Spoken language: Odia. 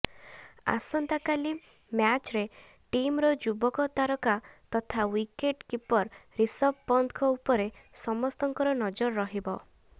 ଆସନ୍ତାକାଲି ମ୍ୟାଚ୍ରେ ଟିମ୍ର ଯୁବ ତାରକା ତଥା ୱିକେଟ୍ କିପର ରିଷଭ ପନ୍ତଙ୍କ ଉପରେ ସମସ୍ତ ନଜର ରହିବ